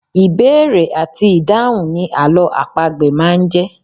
Ìbéèrè àti ìdáhùn ni àlọ́ àpagbè máa ń jẹ́.